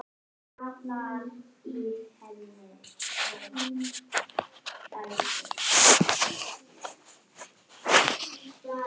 Hvers vegna?